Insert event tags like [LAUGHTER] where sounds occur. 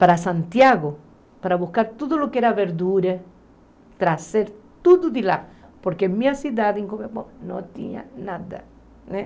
para Santiago, para buscar tudo o que era verdura, trazer tudo de lá, porque minha cidade [UNINTELLIGIBLE] não tinha nada.